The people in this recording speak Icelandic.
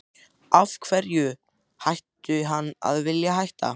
Af hverju ætti hann að vilja hætta?